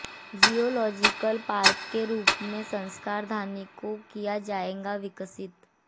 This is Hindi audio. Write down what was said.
जियोलॉजिकल पार्क के रूप में संस्कारधानी को किया जायेगा विकसित